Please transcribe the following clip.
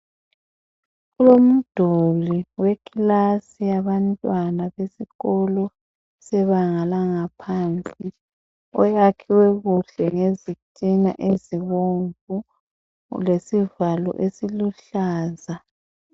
Kulomduli wekilasi yabantwana besikolo sebanga laphansi oyakhiwe kuhle ngezitina ezibomvu lesivalo esiluhlaza.